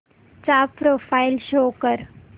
चा profile show कर